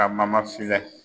Ka filɛ.